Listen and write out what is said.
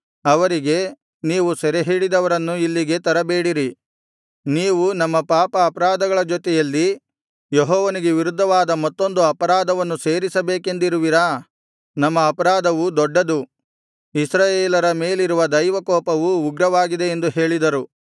ಅವರಿಗೆ ನೀವು ಸೆರೆಹಿಡಿದವರನ್ನು ಇಲ್ಲಿಗೆ ತರಬೇಡಿರಿ ನೀವು ನಮ್ಮ ಪಾಪ ಅಪರಾಧಗಳ ಜೊತೆಯಲ್ಲಿ ಯೆಹೋವನಿಗೆ ವಿರುದ್ಧವಾದ ಮತ್ತೊಂದು ಅಪರಾಧವನ್ನು ಸೇರಿಸಬೇಕೆಂದಿರುವಿರಾ ನಮ್ಮ ಅಪರಾಧವು ದೊಡ್ಡದು ಇಸ್ರಾಯೇಲರ ಮೇಲಿರುವ ದೈವಕೋಪವು ಉಗ್ರವಾಗಿದೆ ಎಂದು ಹೇಳಿದರು